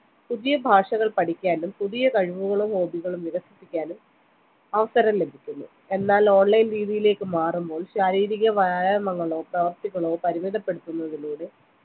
പുതിയ ഭാഷകൾ പഠിക്കാനും പുതിയ കഴിവുകളും hobby കളും വികസിപ്പിക്കാനും അവസരം ലഭിക്കുന്നു എന്നാൽ online രീതിയിലേക്ക് മാറുമ്പോൾ ശാരീരിക വ്യായാമങ്ങളോ പ്രവർത്തികളോ പരുമിതപ്പെടുത്തുന്നതിലൂടെ